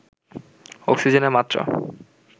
অক্সিজেনের মাত্রা